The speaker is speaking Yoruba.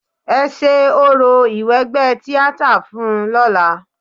Ẹ ṣe orò ìwẹgbẹ́ tíátà fun ún lọ́la.